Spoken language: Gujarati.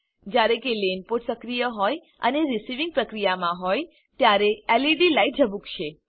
જ્યારે લેન પોર્ટ સક્રિય હોય અને રીસીવિંગ પ્રક્રિયામાં હોય ત્યારે એલઈડી લાઈટ ઝબુકશે